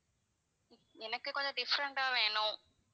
எனக்கு கொஞ்சம் different ஆ வேணும்.